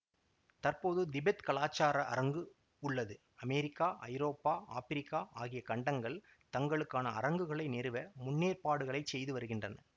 தற்போது திபெத் கலாச்சார அரங்கு உள்ளது அமெரிக்கா ஐரோப்பா ஆப்பிரிக்கா ஆகிய கண்டங்கள் தங்களுக்கான அரங்குகளை நிறுவ முன்னேற்பாடுகளை செய்து வருகின்றன